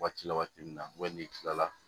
Waati la waati min na n'i kilala